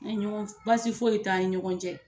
Baasi foyi t'an ni ɲɔgɔn cɛ